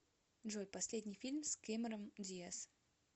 джой последний фильм с кэмерон диаз